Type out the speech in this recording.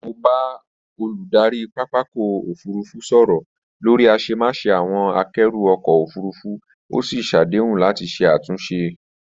Mo bá olùdarí pápakọ̀ òfurufú sọ̀rọ̀ lórí àṣemáṣe àwọn àkẹ́rù ọkọ̀ òfurufú, ó sì ṣàdéhùn láti ṣe àtúnṣe